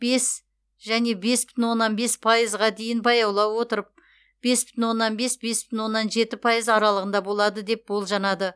бес және бес бүтін оннан бес пайызға дейін баяулай отырып бес бүтін оннан бес бес бүтін оннан жеті пайыз аралығында болады деп болжанады